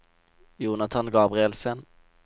Jonathan Gabrielsen